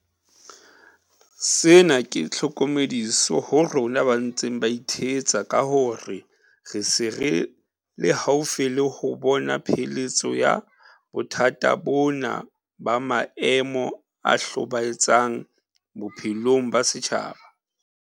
Sena ke tlhokomediso ho rona ba ntseng ba ithetsa ka hore re se re le haufi le ho bona pheletso ya bothata bona ba maemo a hlobae tsang bophelong ba setjhaba.